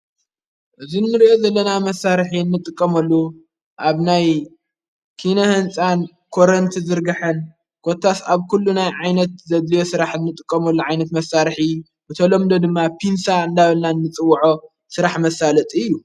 እዝ ንርየ ዘለና መሣርሕ እንጥቀመሉ ኣብ ናይ ኪነ ሕንፃን ኮረንቲ ዝርግሐን ጐታ ስኣብ ኲሉ ናይ ዓይነት ዘድልዮ ሥራሕ እንጥቀመሉ ዓይነት መሣርኂ ብተሎምዶ ድማ ፑንሳ እንዳበናን ንጽውዖ ሥራሕ መሳለጥ እዩ።